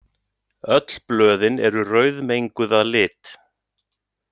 Öll blöðin eru rauðmenguð að lit.